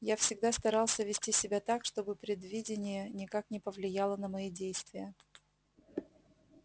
я всегда старался вести себя так чтобы предвидение никак не повлияло на мои действия